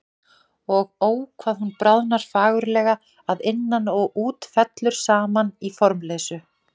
Og Ó hvað hún bráðnar fagurlega, að innan og út, fellur saman í formleysu.